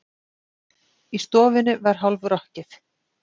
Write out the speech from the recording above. Í stofunni var hálf- rokkið.